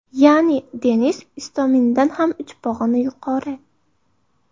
Ya’ni, Denis Istomindan ham uch pog‘ona yuqori .